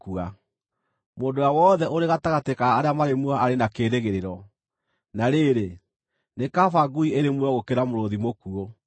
Mũndũ ũrĩa wothe ũrĩ gatagatĩ ka arĩa marĩ muoyo arĩ na kĩĩrĩgĩrĩro; na rĩrĩ, nĩ kaba ngui ĩrĩ muoyo gũkĩra mũrũũthi mũkuũ!